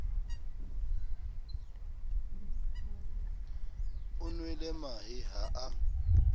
o nwele mahe ha a